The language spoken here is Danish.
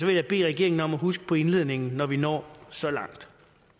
jeg bede regeringen om at huske på indledningen når vi når så langt